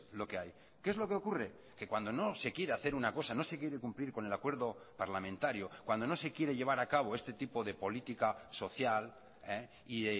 lo que hay qué es lo que ocurre que cuando no se quiere hacer una cosa no se quiere cumplir con el acuerdo parlamentario cuando no se quiere llevar a cabo este tipo de política social y